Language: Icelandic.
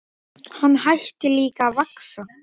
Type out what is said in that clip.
En afi blindi hló bara.